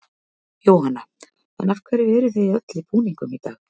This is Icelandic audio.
Jóhanna: En af hverju eruð þið öll í búningum í dag?